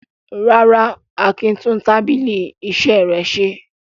Rárá, Akin tún tábìlì iṣẹ́ rẹ̀ ṣe.